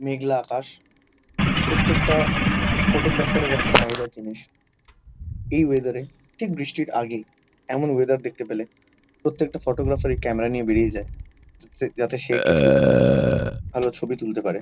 মেঘলা আকাশ। প্রত্যেকটা ফটোগ্রাফার -এর একটা চাহিদার জিনিস। এই ওয়েদারে ঠিক বৃষ্টির আগেই এমন ওয়েদার দেখতে পেলে প্রত্যেকটা ফটোগ্রাফার -ই ক্যামেরা নিয়ে বেরিয়ে যায় চচস যাতে সে কিছু ভাল ছবি তুলতে পারে।